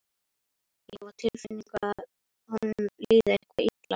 Ég hef á tilfinningunni að honum líði eitthvað illa.